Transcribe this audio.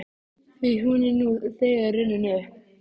Því hún er nú þegar runnin upp.